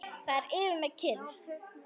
Það er yfir mér kyrrð.